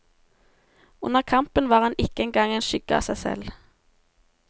Under kampen var han ikke engang en skygge av seg selv.